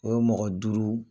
O ye mɔgɔ duuru